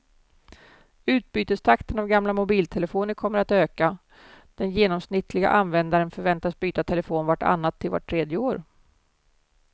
Utbytestakten av gamla mobiltelefoner kommer att öka, den genomsnittliga användaren förväntas byta telefon vart annat till vart tredje år.